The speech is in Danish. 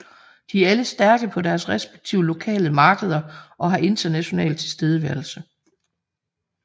De er alle stærke på deres respektive lokale markeder og har international tilstedeværelse